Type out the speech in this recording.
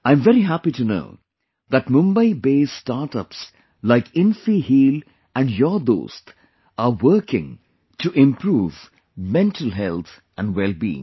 I am very happy to know that Mumbaibased startups like InfiHeal and YOURDost are working to improve mental health and wellbeing